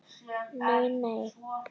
Nei nei.